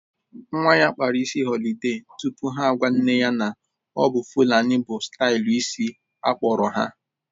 Nwa ya akpara isi họlide tupu ha agwa nne ya na-ọbụ fulani bụ stailu isi akpọrọ ha